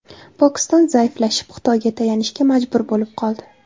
Pokiston zaiflashib, Xitoyga tayanishga majbur bo‘lib qoldi.